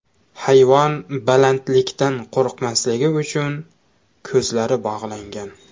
Hayvon balandlikdan qo‘rqmasligi uchun, ko‘zlari bog‘langan.